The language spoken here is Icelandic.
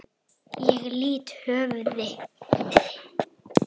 Ég lýt höfði.